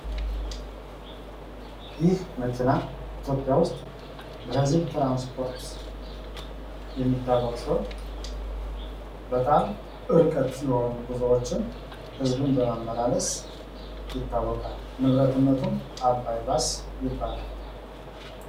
ይህ መኪና ኢትዮጵያ ውስጥ በህዝብ ትራንስፖርት የሚታወቅ ሲሆን በጣም ርቀት የሆኑ ጉዞወችን ህዝብን በማመላለስ ይታወቃል ንብረትነቱም አባይ ባስ ይባላል።